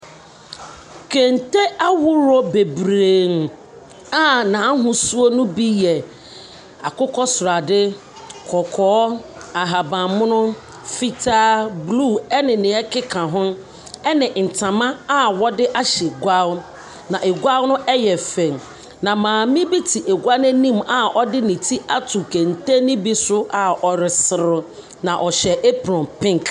Kente ahoroɔ bebree a n’ahosuo no bi yɛ akokɔsradeɛ, kɔkɔɔ, ahabanmono, fitaa, bruu ɛne nea ɛkeka ho, ɛne ntama a wɔde ahyɛ gua, na gua no ɛyɛ fɛ. Na maame bi te gua no anim a ɔde ne ti ato kente ne bi so a ɔreserew, na ɔhyɛ apron pink.